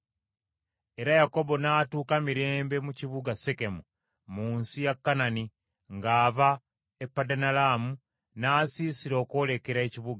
Era Yakobo n’atuuka mirembe mu kibuga Sekemu, mu nsi ya Kanani, ng’ava e Padanalaamu, n’asiisira okwolekera ekibuga.